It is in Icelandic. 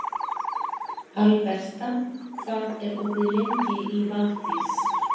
Alberta, hvað er opið lengi í Valdís?